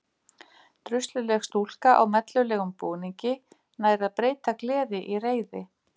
Drusluleg stúlka á mellulegum búningi nær að breyta gleði í reiði.